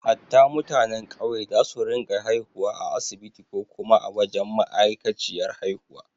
Hatta mutanen ƙauye za su rinka haihuwa a asibiti ko kuma a wajen ma’aikaciyar haihuwa